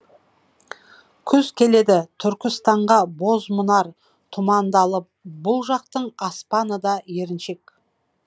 күз келеді түркістанға бозмұнар тұманды алып бұл жақтың аспаны да еріншек